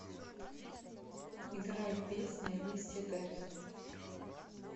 играй песня листья горят